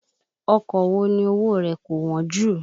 Ọkọ̀ wo ni owó o rẹ̀ kò wọ́n jù?